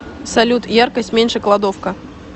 салют яркость меньше кладовка